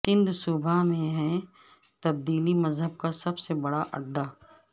سندھ صوبہ میں ہے تبدیلی مذہب کا سب سے بڑا اڈہ